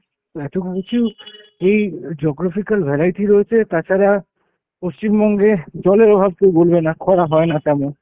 তো এতকিছু এই geographical variety রয়েছে, তাছাড়া পশ্চিমবঙ্গে জলের অভাব কেউ বলবে না, খরা হয় না তেমন।